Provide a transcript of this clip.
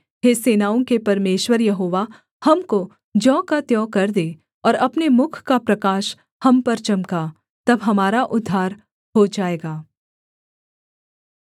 हे सेनाओं के परमेश्वर यहोवा हमको ज्यों का त्यों कर दे और अपने मुख का प्रकाश हम पर चमका तब हमारा उद्धार हो जाएगा